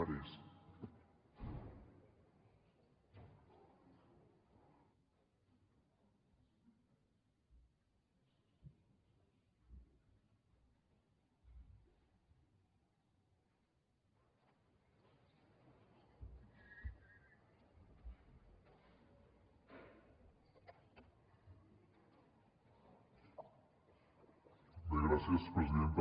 bé gràcies presidenta